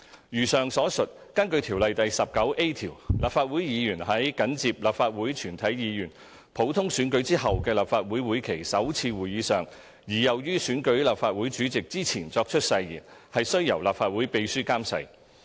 如上所述，根據《條例》第 19a 條，立法會議員在緊接立法會全體議員普通選舉後的立法會會期首次會議上而又於選舉立法會主席之前作出誓言，須由立法會秘書監誓。